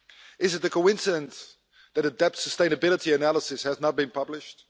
Is it a coincidence that a debt sustainability analysis has not been published?